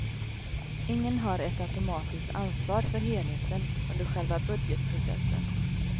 Ingen har ett automatiskt ansvar för helheten, under själva budgetprocessen.